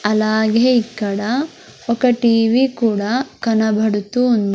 అలాగే ఇక్కడ ఒక టీ_వీ కూడా కనబడుతూ ఉంది.